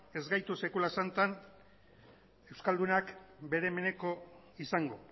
ez gaitu sekula santan euskaldunak bere beneko izango